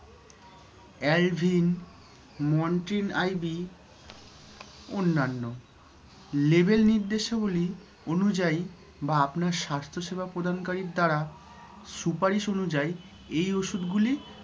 alvin, montril ib অন্যান্য। label নির্দেশাবলী অনুযায়ী বা আপনার স্বাস্থ্যসেবা প্রদানকারীর দ্বারা সুপারিশ অনুযায়ী এই ওষুধগুলি ব্যবহার করুন